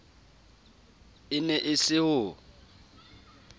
e ne e se ho